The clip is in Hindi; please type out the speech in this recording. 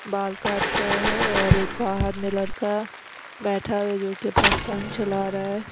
बाल काट रहा है और एक बाहर में लड़का बैठा है जो कि अपना फोन चला रहा है।